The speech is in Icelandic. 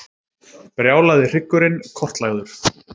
Brjálaði hryggurinn kortlagður